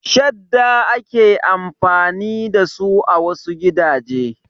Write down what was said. Shadda ake amfani dasu a wasu gidaje.